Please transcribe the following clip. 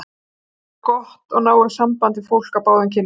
Ég á gott og náið samband við fólk af báðum kynjum.